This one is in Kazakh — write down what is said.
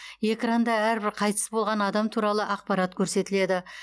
экранда әрбір қайтыс болған адам туралы ақпарат көрсетіледі